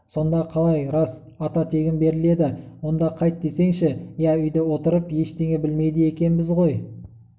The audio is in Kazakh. сонда қалай рас ата тегін беріледі онда қайт десеңші иә үйде отырып ештеңе білмейді екенбіз ғой